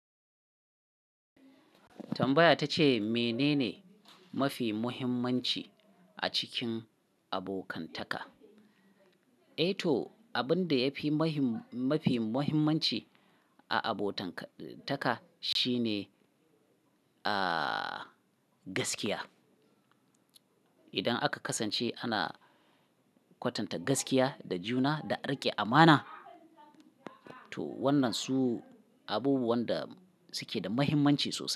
Tambaya ta ce mene ne mafi muhimmanci a cikin abokantaka? E to, abin da yafi mahim-- mafi muhimmanci a abotanka, taka shine, aa, gaskiya. Idan aka kasance ana kwatanta gaskiya da juna da rike amana, to wannan su abubuwan da suke da muhimmanci sosai.